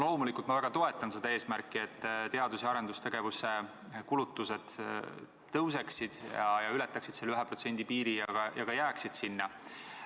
Loomulikult ma väga toetan seda eesmärki, et teadus- ja arendustegevuse kulutused tõuseksid, ületaksid selle 1% piiri ja ka jääksid sinna.